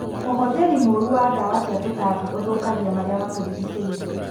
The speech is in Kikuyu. ũhũthĩri mũru wa ndawa cia tũtambi ũthũkagia maria matũrigicĩirie.